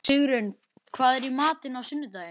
Sigurunn, hvað er í matinn á sunnudaginn?